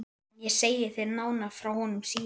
En ég segi þér nánar frá honum síðar.